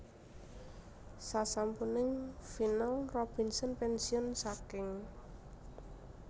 Sasampuning final Robinson pénsiun saking